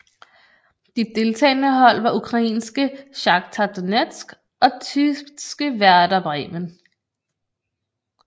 De deltagende hold var ukrainske Shakhtar Donetsk og tyske Werder Bremen